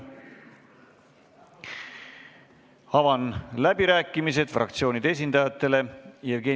Avan fraktsioonide esindajate läbirääkimised.